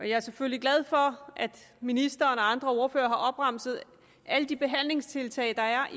jeg er selvfølgelig glad for at ministeren og andre ordførere har opremset alle de behandlingstiltag der er